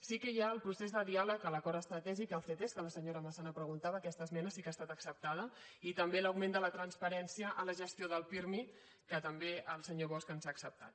sí que hi ha el procés de diàleg a l’acord estratègic el fet és que la senyora massana preguntava aquesta esmena sí que ha estat acceptada i també l’augment de la transparència en la gestió del pirmi que també el senyor bosch ens ha acceptat